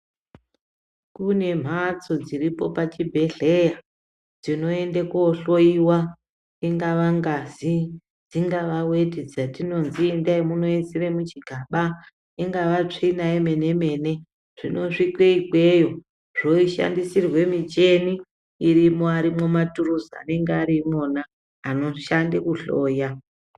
Kune mhatso dziripo pachibhedhleya tinoenda kohloiwa ingava ngazi dzingava weti dzatinozi endai munoisire muchigana ingava tsvina yemene mene zvinosvike ikweyo zvoshandisirwe mucheni irimarimwo maturuzi anenga ari imwona anoshande kuhloya.